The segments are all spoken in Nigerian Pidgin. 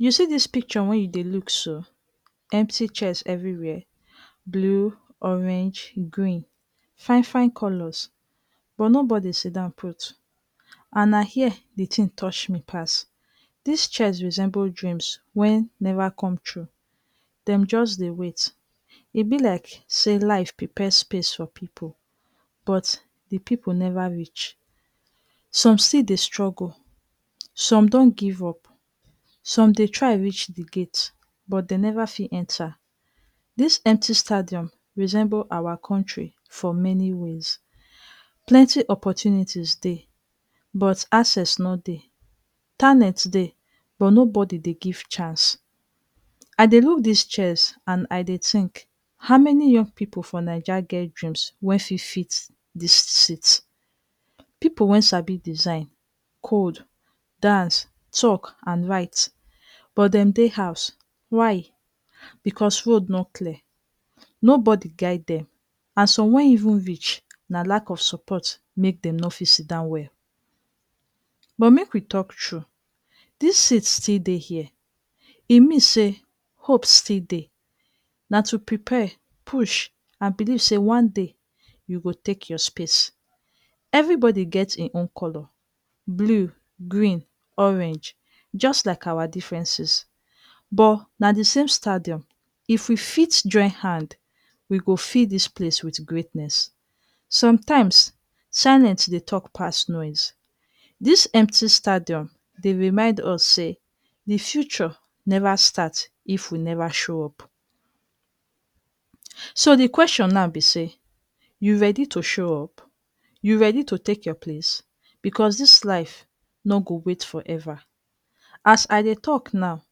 ‎You see this picture wey you dey look so? Empty chairs everywhere — blue, orange, green — fine fine colours. But nobody dey sit down put. And na here this thing touch me pass. These chairs resemble dreams wey never come true. Dem just dey wait. E be like say life don prepare space for people, but the people never reach. ‎Some still dey struggle. Some don give up. Some dey try reach the gate, but dem never fit enter. This empty stadium resemble our country in many ways — plenty opportunity dey, but access no dey. Talent dey, but nobody dey give chance. ‎‎As I dey look these chairs, I dey think: how many young people for Naija get big dreams wey suppose fit this seat? People wey sabi design, code, dance, talk, write — but dem still dey house. Why? ‎‎Because road no clear. Nobody guide them. And for some people wey even reach, na lack of support push them comot. But make we talk true — these seats still dey here. E mean say hope still dey. ‎‎Now na to prepare, push, and believe say one day you go take your space. Everybody get him own colour — blue, green, orange — just like our differences. But na the same stadium. If we fit join hand, we go fill this place with greatness. ‎‎Sometimes silence dey talk pass noise. This empty stadium dey remind us say the future never start if we never show up. So the question be say: you ready to show up? You ready to take your place? Because this life no go wait forever. ‎As I dey talk now,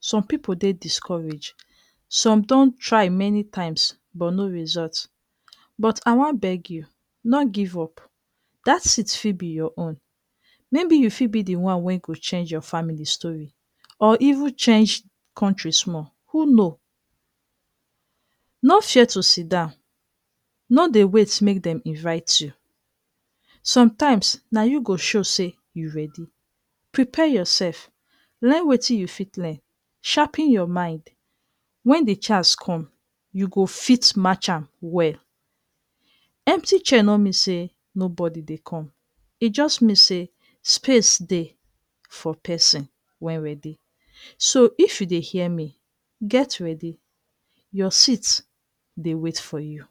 some people dey discouraged. Some don try many times but no result. But I wan beg you — no give up. That seat fit be your own. You fit be the person wey go change your family story… or even change country small. Who know no chair to sit down no dey wait make dey invite you sometimes na you go show say you ready prepare yourself learn wetin you wan learn sharpen your mind when chance come you go fit march am well. Empty chair no me say nobody dey come it just mean say space dey for person wey ready so if you dey hear me get ready your sit dey wait for you.